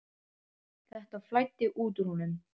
Þetta flæddi út úr honum.